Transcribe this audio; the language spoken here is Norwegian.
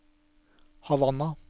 Havanna